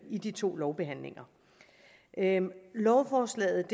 i de to lovbehandlinger lovforslaget